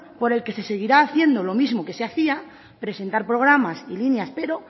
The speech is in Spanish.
por el que se seguirá haciendo lo mismo que se hacía presentar programas y líneas pero